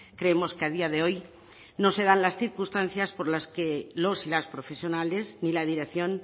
creemos que a día de hoy no se dan las circunstancias por las que los y las profesionales ni la dirección